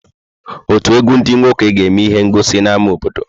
Ọtù egwu ndị nwoke ga-eme ihe ngọsi n'ámá obodo.